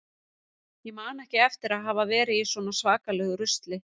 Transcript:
Ég man ekki eftir að hafa verið í svona svakalegu rusli.